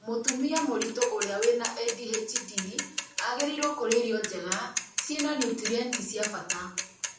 mũtumia mũritũ ũrĩa wĩna ADHD aagĩrĩirwo kũrĩa irio njega ciĩna niutrienti cia bata